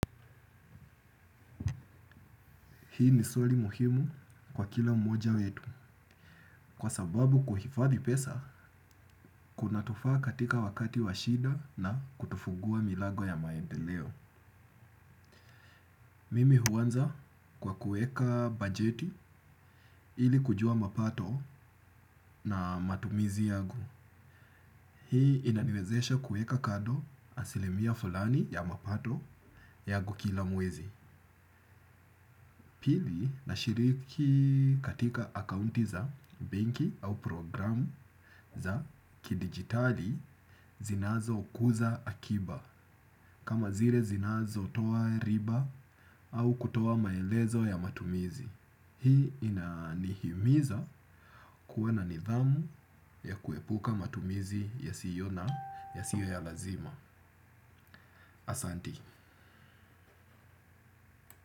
Hii ni swali muhimu kwa kila mmoja wetu kwa sababu kuhifadhi pesa kunatufaa katika wakati wa shida na kutufugua milago ya maedeleo. Mimi huanza kwa kueka bajeti ili kujua mapato na matumizi yagu. Hii inaniwezesha kueka kado asilimia fulani ya mapato yagu kila mwezi. Pili na shiriki katika akaunti za benki au programu za kidigitali zinazo kuza akiba kama zile zinazo toa riba au kutoa maelezo ya matumizi. Hii inanihimiza kuwa na nidhamu ya kuepuka matumizi ya siyo na ya siyo ya lazima. Asanti.